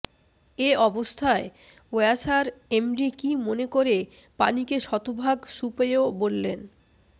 এ অবস্থায় ওয়াসার এমডি কী মনে করে পানিকে শতভাগ সুপেয় বললেন